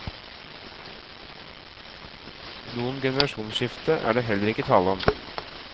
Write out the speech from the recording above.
Noe generasjonsskifte er det heller ikke tale om.